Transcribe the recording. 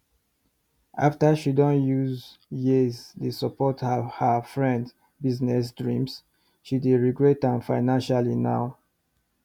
after she don use years dey support her her friends business dream she dey regret am financially now